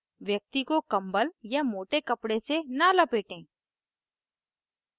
व्यक्ति को कम्बल या मोटे कपडे से न लपेटें